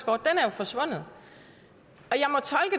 forsvundet